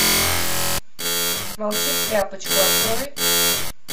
молчи в тряпочку открой